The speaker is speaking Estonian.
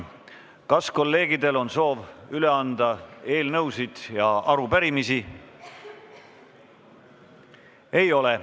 Kas kolleegidel on soovi üle anda eelnõusid ja arupärimisi?